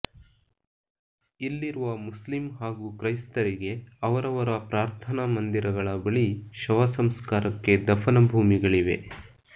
ಇಲ್ಲಿರುವ ಮುಸ್ಲಿಂ ಹಾಗೂ ಕ್ರೈಸ್ತರಿಗೆ ಅವರವರ ಪ್ರಾರ್ಥನಾ ಮಂದಿರಗಳ ಬಳಿ ಶವ ಸಂಸ್ಕಾರಕ್ಕೆ ದಫನ ಭೂಮಿಗಳಿವೆ